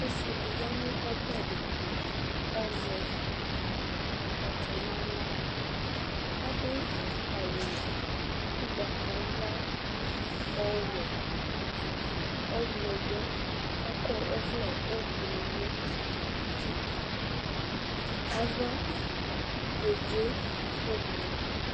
Ɔsɩ dɩ ya nʋ ɔbɛ dɩ tʋ kʋ azɛ akpatsɔ nʋ aɣla Adʋ awʋ ʋgbatawla, ɔwɛ, ɔɣlɔmɔ kʋ akɔ ɔvlɛ ʋblʋ nʋ uti Ava kedze ʋblʋ